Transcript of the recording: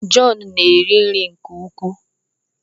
John na-eri nke ukwuu